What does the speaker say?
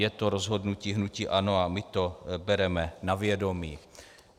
Je to rozhodnutí hnutí ANO a my to bereme na vědomí.